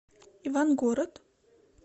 ивангород